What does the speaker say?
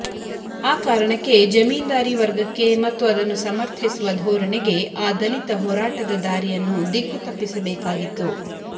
ಆ ಕಾರಣಕ್ಕೆ ಜಮೀನ್ದಾರಿ ವರ್ಗಕ್ಕೆ ಮತ್ತು ಅದನ್ನು ಸಮರ್ಥಿಸುವ ಧೋರಣೆಗೆ ಆ ದಲಿತ ಹೋರಾಟದ ದಾರಿಯನ್ನು ದಿಕ್ಕು ತಪ್ಪಿಸಬೇಕಾಗಿತ್ತು